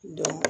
Don